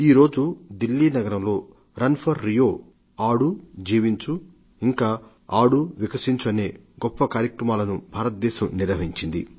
ఈరోజు ఢిల్లీ నగరంలో run for Rio ఆడు జీవించు ఇంకా ఆడు వికసించు అనే గొప్ప కార్యక్రమాలను భారతదేశం నిర్వహించింది